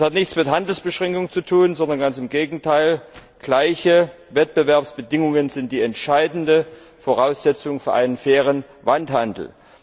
Das hat nichts mit Handelsbeschränkungen zu tun, sondern ganz im Gegenteil, gleiche Wettbewerbsbedingungen sind die entscheidende Voraussetzung für einen fairen Welthandel.